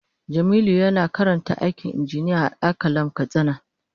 Jamilu yana karanta aikin injiniya a Al-qalam katsina.